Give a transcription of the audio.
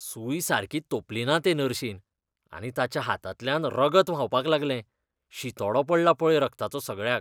सूय सारकी तोंपलीना ते नर्शीन, आनी ताच्या हातांतल्यान रगत व्हांवपाक लागलें, शिंतोडो पडला पळय रगताचो सगळ्याक!